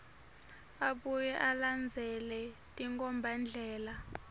abuye alandzele tinkhombandlela